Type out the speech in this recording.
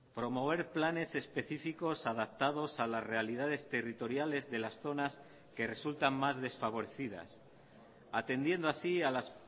promover planes específicos adaptados a las realidades territoriales de las zonas que resultan más desfavorecidas atendiendo así a las